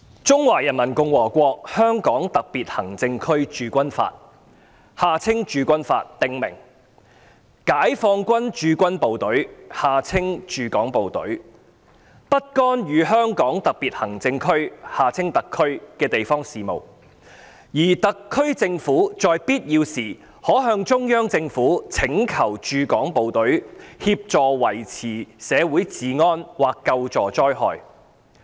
《中華人民共和國香港特別行政區駐軍法》訂明，解放軍駐港部隊不干預香港特別行政區的地方事務，而特區政府在必要時可向中央政府請求駐港部隊協助維持社會治安或救助災害。